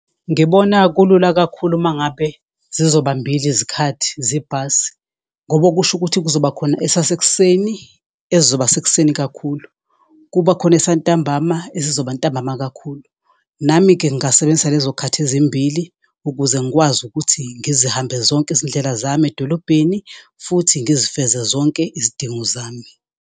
Ngibona kulula kakhulu mangabe zizobambili izikhathi zebhasi, ngoba kusho ukuthi kuzoba khona esasekuseni ezizoba sekuseni kakhulu. Kuba khona esantambama ezizoba ntambama kakhulu. Nami-ke ngingasebenzisa lezo khathi ezimbili ukuze ngikwazi ukuthi ngizihambe zonke izindlela zami edolobheni futhi ngizifeze zonke izidingo zami.